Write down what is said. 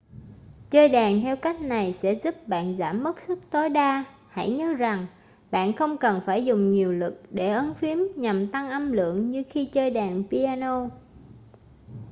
chơi đàn theo cách này sẽ giúp bạn giảm mất sức tối đa hãy nhớ rằng bạn không cần phải dùng nhiều lực để ấn phím nhằm tăng âm lượng như khi chơi đàn piano